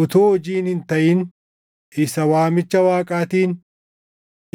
utuu hojiin hin taʼin isa waamicha Waaqaatiin,